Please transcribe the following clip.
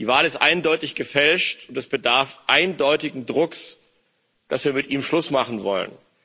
Die Wahl ist eindeutig gefälscht, und es bedarf eindeutigen Drucks, dass wir mit ihm Schluss machen wollen.